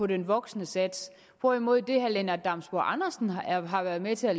den voksne sats hvorimod det herre lennart damsbo andersen har været med til at